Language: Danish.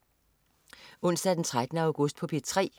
Onsdag den 13. august - P3: